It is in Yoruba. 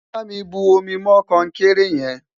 bá mí bu omi mọ konkere yen